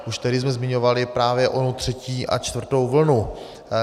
Už tehdy jsme zmiňovali právě onu třetí a čtvrtou vlnu.